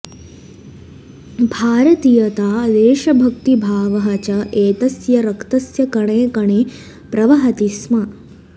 भारतीयता देशभक्तिभावः च एतस्य रक्तस्य कणे कणे प्रवहति स्म